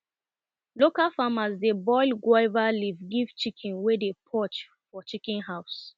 local farmers dey boil guava leaf give chicken wey dey purge for chicken house